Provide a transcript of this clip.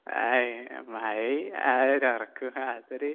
ആയ് മഴേം ആ ഒരു ഒറക്കോം അതൊരു